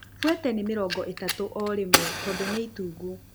Buete ni mĩrongo ĩtatũ orĩmwe tondũ nĩ itungu